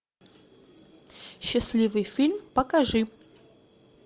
счастливый фильм покажи